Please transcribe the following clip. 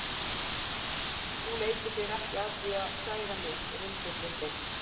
Þú leikur þér ekki að því að særa mig, rindillinn þinn.